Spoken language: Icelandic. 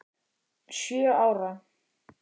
Sjö ára.